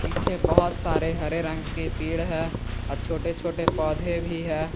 पीछे बहुत सारे हरे रंग के पेड़ है और छोटे छोटे पौधे भी है।